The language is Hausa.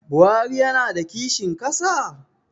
Buhari yana da kishin ƙasa?